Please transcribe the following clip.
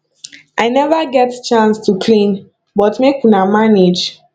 i never get chance to clean but make una manage